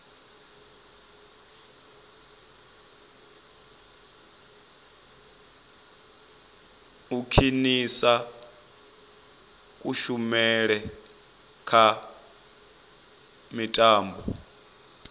u khwinisa kushumele kha mitambo